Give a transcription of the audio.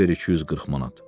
Çıxart ver 240 manat.